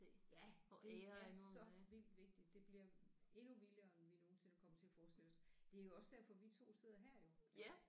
Ja det er så vildt vigtigt det bliver endnu vildere end vi nogensinde kommer til at forestille os. Det er jo også derfor vi 2 sidder her jo